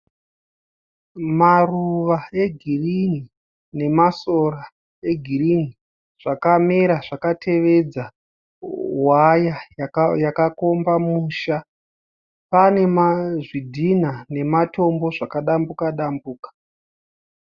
Maruva egirini nemasora egirini zvakamera zvakatevedza waya yakakomba musha. Panezvidhinha nematombo zvakadambuka-dambuka.